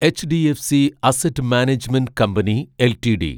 HDFC asset management company LTD